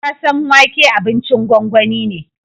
Gasasen wake abincin gongoni ne.